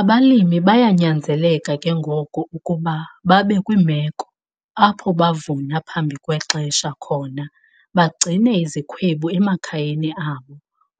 Abalimi bayanyanzeleka ke ngoko ukuba babe kwimeko apho bavuna phambi kwexesha khona bagcine izikhwebu emakhayeni abo